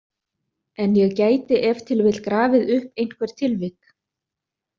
En ég gæti ef til vill grafið upp einhver tilvik.